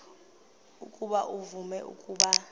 ukuba uvume ukuba